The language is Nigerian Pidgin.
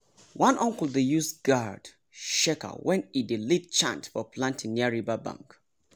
one uncle dey use gourd shaker when e dey lead chant for planting near riverbank.